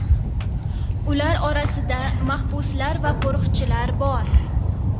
Ular orasida mahbuslar va qo‘riqchilar bor.